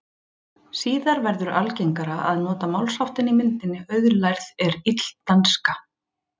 Síðar verður algengara að nota málsháttinn í myndinni auðlærð er ill danska.